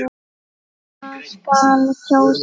Hvað skal kjósa?